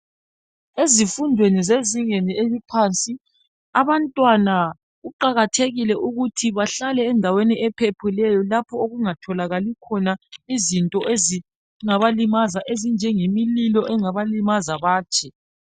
Ezifundweni zezingeni eliphansi abantwana kuqakathekile ukuthi bahlale endaweni ephephileyo lapho okungatholakali izinto ezingaba limaza ezinjengo mlilo ongabalimaza batshe